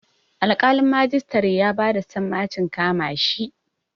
Alƙalin majistare ya ba da sammacin kama shi.